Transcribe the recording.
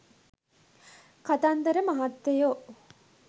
කතන්දර මහත්තයෝ